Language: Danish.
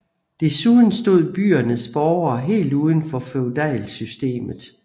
Desuden stod byernes borgere helt uden for feudalsystemet